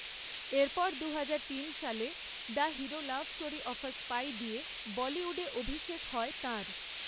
এরপর দুহাজার তিন সালে ‘the hero love story of a spy’ দিয়ে বলিউডে অভিষেক হয় তাঁর।